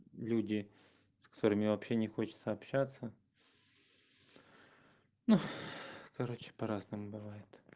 люди с которыми вообще не хочется общаться ну короче по-разному бывает